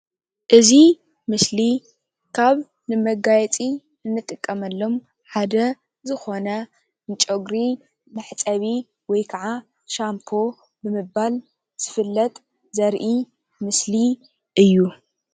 እዚ ምስሊ ካብ ንመጋየፂ እንጥቀመሎም ሓደ ዝኾነ ንጨጉሪ መሕፀቢ ወይ ክዓ ሻምፖ ብምባል ዝፍለጥ ዘርኢ ምስሊ እዩ፡፡